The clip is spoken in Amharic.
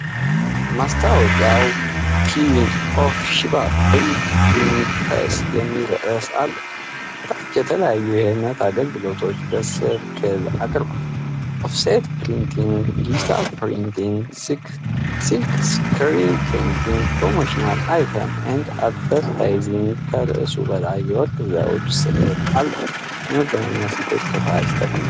ማስታወቂያው "ኩዊን ኦፍ ሺባ ፕሪንቲንግ ፕሬስ" የሚል ርዕስ አለው። ከታች የተለያዩ የህትመት አገልግሎቶችን በሰርክል አቅርቧል፦ ኦፍሴት ፕሪንቲንግ፣ ዲጂታል ፕሪንቲንግ፣ ሲልክስክሪን ፕሪንቲንግ፣ ፕሮሞሽናል አይተም እና አድቨርታይዚንግ። ከርዕሱ በላይ የወርቅ ዘውድ ስዕል አለው። የመገናኛ ስልኮች ከታች ተቀምጠዋል።